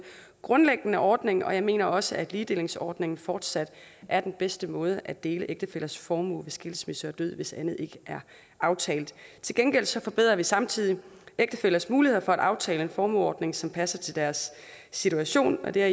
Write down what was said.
grundlæggende ordning jeg mener også at ligedelingsordningen fortsat er den bedste måde at dele ægtefællers formue ved skilsmisse og død hvis andet ikke er aftalt til gengæld forbedrer vi samtidig ægtefællers muligheder for at aftale en formueordning som passer til deres situation og der